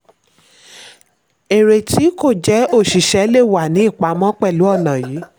èrè tí kò jẹ́ òṣìṣẹ́ lè wa ní ìpamọ́ pẹ̀lú ònà yìí.